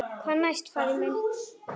Hvað næst, faðir minn?